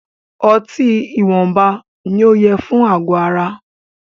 Ọtí ìwọnba ní o yẹ fún àgọ ara.